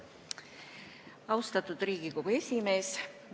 Austatud Riigikogu esimees!